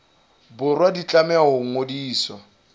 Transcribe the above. borwa di tlameha ho ngodiswa